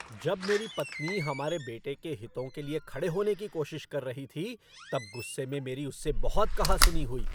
जब मेरी पत्नी हमारे बेटे के हितों के लिए खड़े होने की कोशिश कर रही थी तब गुस्से में मेरी उससे बहुत कहा सुनी हुई।